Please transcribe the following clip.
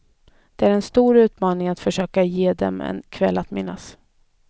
Det är en stor utmaning att försöka ge dem en kväll att minnas.